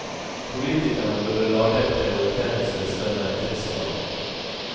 Politikerne burde lage en prioriteringsliste med en tidsplan.